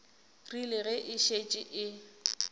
rile ge e šetše e